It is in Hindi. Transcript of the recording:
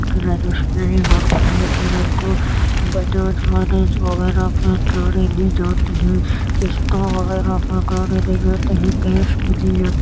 अगर रजिस्ट्री होती है फिर उनको बजाज फाइनेंस वगैरा पे गाड़ी दी जाती है किस्तों वगैरा पे गाड़ी दी जाती है । कैश में दी जाती--